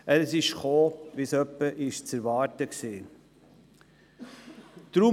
Er ist so herausgekommen, wie es zu erwarten war.